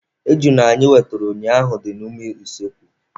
Ejuna anyị wetere ụnyaahụ dị n'ime usekwu.